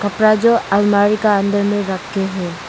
कपड़ा जो अलमारी का अंदर में रख के है।